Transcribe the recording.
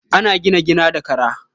An gina gida da kara.